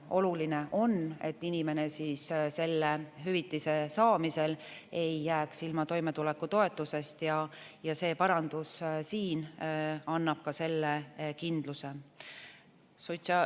Oluline on, et inimene selle hüvitise saamisel ei jääks ilma toimetulekutoetusest, ja see parandus siin annab selle kindluse.